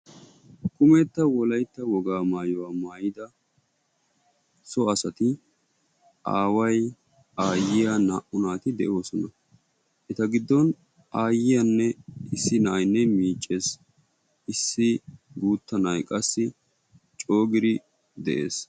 Kummetta wolaytta wogga maayuwaa maayidda so asati aaway, aayiyaa naa"u naatti de"osona, eta giddon aayiyanne issi naa'aynne miiccees, issi guutta na'ay qassi coo giiddi dees.